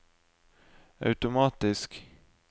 automatisk